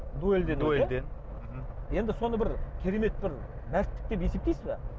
дуэльде дуэльде мхм енді соны бір керемет бір мәрттік деп есептейсіз бе